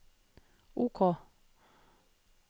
OK